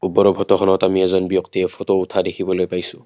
ওপৰৰ ফটোখনত আমি এজন ব্যক্তিয়ে ফটো উঠা দেখিবলৈ পাইছোঁ।